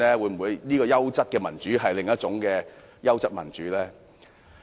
黃議員說的優質民主，會否是另一種優質民主？